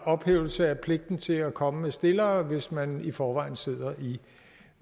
ophævelse af pligten til at komme med stillere hvis man i forvejen sidder